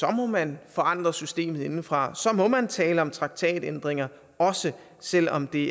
man forandre systemet indefra og så må man tale om traktatændringer også selv om det